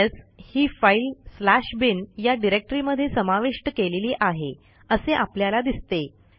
PS ही file bin या डिरेक्टरीमध्ये समाविष्ट केलेली आहे असे आपल्याला दिसते